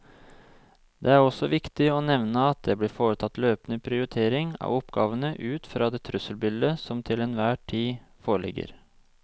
Det er også viktig å nevne at det blir foretatt løpende prioritering av oppgavene ut fra det trusselbildet som til enhver tid foreligger.